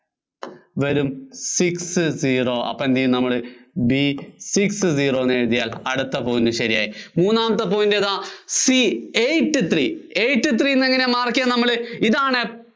വരും six zero അപ്പോ എന്തു ചെയ്യും നമ്മള് B six zero എന്നെഴുതിയാല്‍ അടുത്ത point ശരിയായി. മൂന്നാമത്തെ point ഏതാ? C eight three, eight three എന്നെങ്ങിനെയാ mark ചെയ്യുന്നത് നമ്മള് ഇതാണ്